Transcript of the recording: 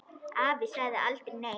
Afi sagði aldrei nei.